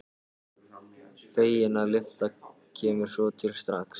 Fegin að lyftan kemur svo til strax.